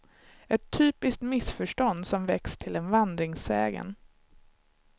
Ett typiskt missförstånd som växt till en vandringssägen.